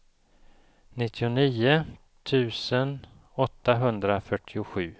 nittionio tusen åttahundrafyrtiosju